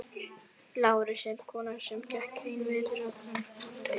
LÁRUS: En konan sem gekk einn vetur á kvennaskóla veit.